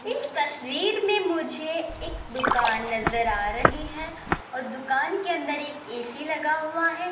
इस तसवीर में मुझे एक दुकान नजर आ रही है और दुकान के अंदर एक ए_सी लगा हुआ है।